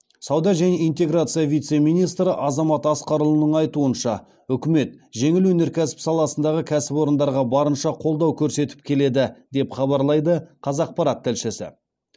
сауда және интеграция вице министрі азамат асқарұлының айтуынша үкімет жеңіл өнеркәсіп саласындағы кәсіпорындарға барынша қолдау көрсетіп келеді деп хабарлайды қазақпарат тілшісі